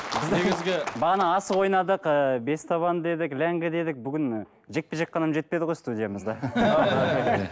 бағана асық ойнадық ы бес табан дедік ләңгі дедік бүгін жекпе жек қана жетпеді ғой студиямызда